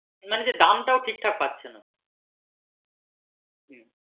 মানে যে দাম টা ও ঠিকঠাক পাচ্ছেনা হম